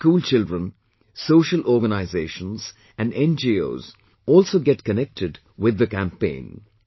School children, social organizations and NGOs also get connected with the campaign